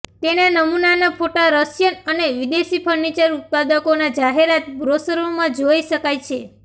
તેના નમૂનાના ફોટા રશિયન અને વિદેશી ફર્નિચર ઉત્પાદકોના જાહેરાત બ્રોશરોમાં જોઈ શકાય છે